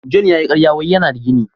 " John " ya yi karya wai yana da gini.